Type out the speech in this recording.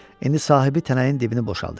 İndi sahibi tənəyin dibini boşaltdırdı.